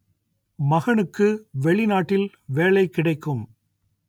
மகனுக்கு வெளிநாட்டில் வேலை கிடைக்கும்